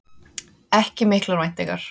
Ekki miklar væntingar